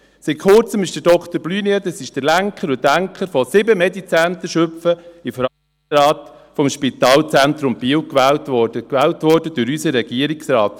Vor Kurzem wurde Dr. Blunier, das ist der Lenker und Denker des MediZentrums Schüpfen, in den Verwaltungsrat des Spitalzentrums Biel gewählt – gewählt durch unseren Regierungsrat.